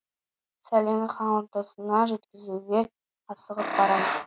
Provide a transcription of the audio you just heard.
сәлемін хан ордасына жеткізуге асығып барам